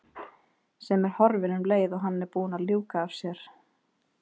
Sem er horfin um leið og hann er búinn að ljúka sér af.